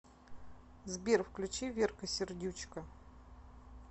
сбер включи верка сердючка